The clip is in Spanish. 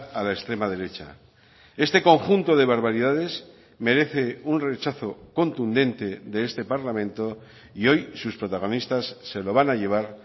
a la extrema derecha este conjunto de barbaridades merece un rechazo contundente de este parlamento y hoy sus protagonistas se lo van a llevar